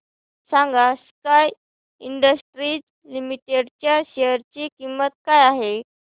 सांगा Sky Industries Limited च्या share ची किंमत काय आहे